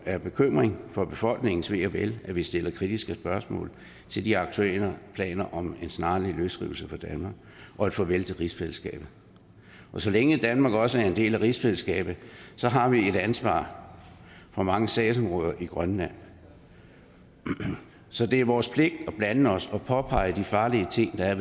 af bekymring for befolkningens ve og vel at vi stiller kritiske spørgsmål til de aktuelle planer om en snarlig løsrivelse fra danmark og et farvel til rigsfællesskabet og så længe danmark også er en del af rigsfællesskabet har vi et ansvar for mange sagsområder i grønland så det er vores pligt at blande os og påpege de farlige ting der er